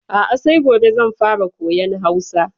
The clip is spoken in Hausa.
A'a sai gobe zan fara koyan Hausa.